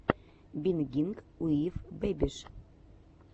бингинг уив бэбиш